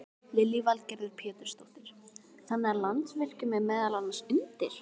Lillý Valgerður Pétursdóttir: Þannig að Landsvirkjun er meðal annars undir?